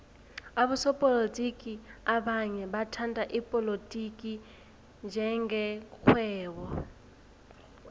abosopolotiki abanye bathhatha ipolotiki njenge rhwebo